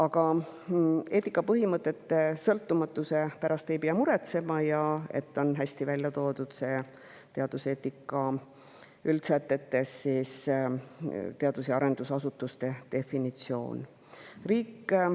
Aga eetikapõhimõtete sõltumatuse pärast ei pea muretsema ja üldsätetes on hästi välja toodud teadus‑ ja arendusasutuse definitsioon.